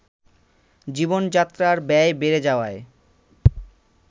জীবনযাত্রার ব্যয় বেড়ে যাওয়ায়